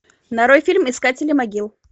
нарой фильм искатели могил